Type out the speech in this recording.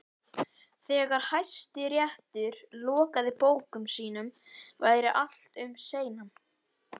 Þegar Hæstiréttur lokaði bókum sínum væri allt um seinan.